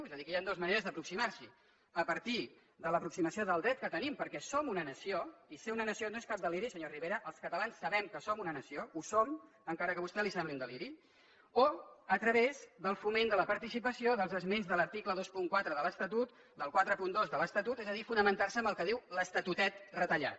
és a dir aquí hi han dues maneres d’aproximar s’hi a partir de l’aproximació del dret que tenim perquè som una nació i ser una nació no és cap deliri senyor rivera els catalans sabem que som una nació ho som encara que a vostè li sembli un deliri o a través del foment de la participació dels esments de l’article vint quatre de l’estatut del quaranta dos de l’estatut és a dir fonamentar se en el que diu l’estatutet retallat